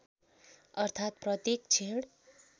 अर्थात् प्रत्येक क्षण